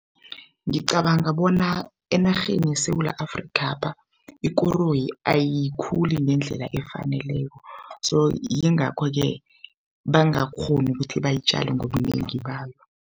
Ngicabanga bona enarheni yeSewula Afrikapha ikoroyi ayikhuli ngendlela efaneleko so yingakhoke bangakghoni ukuthi bayitjale ngobunengi babo.